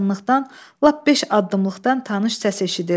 Yaxınlıqdan lap beş addımlıqdan tanış səs eşidildi.